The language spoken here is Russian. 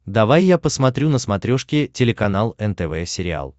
давай я посмотрю на смотрешке телеканал нтв сериал